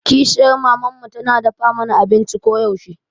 Kishiyar maman mu tana dafa mana abinci koyaushe.